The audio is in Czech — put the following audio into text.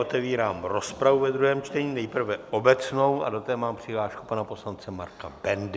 Otevírám rozpravu ve druhém čtení, nejprve obecnou, a do té mám přihlášku pana poslance Marka Bendy.